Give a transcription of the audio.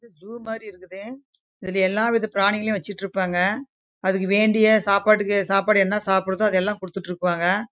இது ஜூ மாரி இருக்குது இங்க எலாம் ப்ரிரணி வச்சிருக்காங்க அதுக்கு வேண்டிய சாப்பாடு என சாப்புடுதோ அது லாம் குடுத்துட்டு இருக்குறாங்க